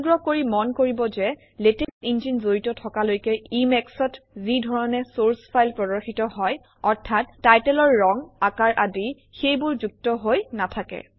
অনুগ্ৰহ কৰি মন কৰিব যে লেটেক্স ইঞ্জিন জড়িত থকালৈকে Emac অত যি ধৰণে চৰ্চ ফাইল প্ৰদৰ্শিত হয় অৰ্থাৎ টাইটেলৰ ৰং আকাৰ আদি সেইবোৰ যুক্ত হৈ নাথাকে